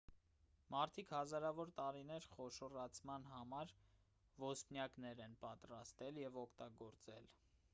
մարդիկ հազարավոր տարիներ խոշորացման համար ոսպնյակներ են պատրաստել և օգտագործել